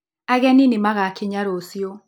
Ageni nĩmagakinya rũciũ.